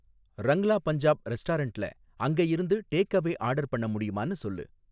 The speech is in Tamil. ரங்லா பஞ்சாப் ரெஸ்டாரன்ட்ல அங்க இருந்து டேக்அவே ஆர்டர் பண்ண முடியுமான்னு சொல்லு